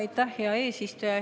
Aitäh, hea eesistuja!